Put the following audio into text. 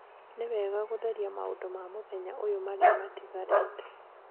Nĩ wega gũtheria maũndũ ma mũthenya ũyũ marĩa matigarĩte